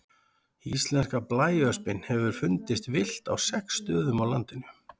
Íslenska blæöspin hefur fundist villt á sex stöðum á landinu.